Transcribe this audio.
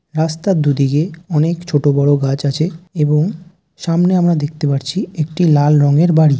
রাস্তার দুদিকে অনেক ছোট বড়ো গাছ আছে এবং সামনে আমরা দেখতে পাচ্ছি একটি লাল রঙের বাড়ি।